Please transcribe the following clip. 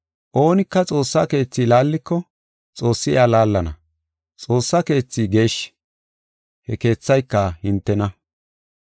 Oonika Xoossaa keethi laalliko, Xoossi iya laallana. Xoossa keethi geeshshi; he keethayka hintena.